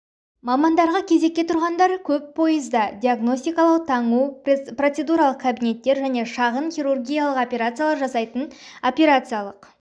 мамандарға кезекке тұрғандар көп пойызда диагностикалау таңу процедуралық кабинеттер және шағын хирургиялық операциялар жасайтын операциялық